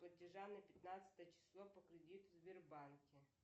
платежа на пятнадцатое число по кредиту в сбербанке